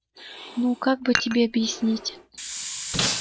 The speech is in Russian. ну как бы тебе объяснить